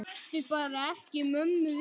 Láttu bara ekki mömmu vita.